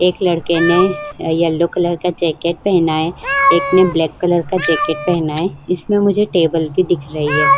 एक लड़के ने अ येलो कलर का जैकेट पहना है। एक ने ब्लैक कलर का जैकेट पहना है। इसमें मुझे टेबल भी दिख रही है।